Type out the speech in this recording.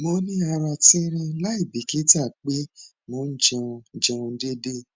mo ni ara tinrin laibikita pe mo n jẹun jẹun deede